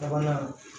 Sabanan